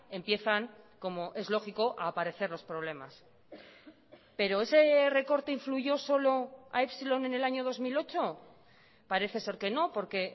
empiezan como es lógico a aparecer los problemas pero ese recorte influyó solo a epsilon en el año dos mil ocho parece ser que no porque